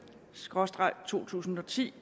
SKRÅSTREG to tusind og ti